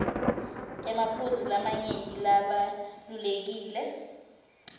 emaphuzu lamanyenti labalulekile